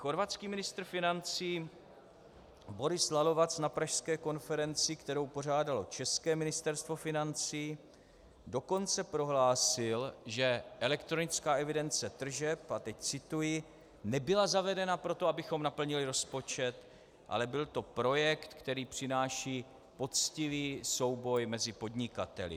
Chorvatský ministr financí Boris Lalovac na pražské konferenci, kterou pořádalo české Ministerstvo financí, dokonce prohlásil, že elektronická evidence tržeb, a teď cituji: "Nebyla zavedena proto, abychom naplnili rozpočet, ale byl to projekt, který přináší poctivý souboj mezi podnikateli."